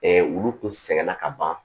olu kun sɛgɛn na ka ban